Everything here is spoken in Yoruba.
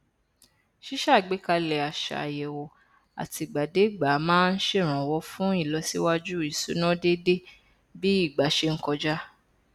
ṣíṣàgbékalẹ àṣà àyẹwò àtìgbàdégbà máa n ṣèrànwọ fún ìlọsíwájú ìṣúná déédé bí ìgbà ṣe n kọjá